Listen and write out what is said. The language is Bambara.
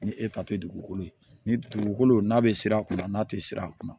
Ni e ta tɛ dugukolo ye ni dugukolo n'a bɛ siran a kunna n'a tɛ siran a kunna